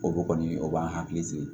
O kɔni o b'an hakili sigi